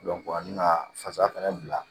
an bɛna fasa fɛnɛ bila